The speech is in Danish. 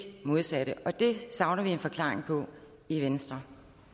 modsatte og det savner vi en forklaring på i venstre